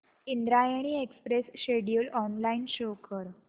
Indrayani express schedule online show कर